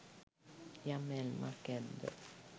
යම් ඇල්මක් ඇද්ද